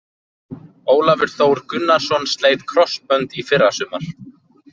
Ólafur Þór Gunnarsson sleit krossbönd í fyrrasumar.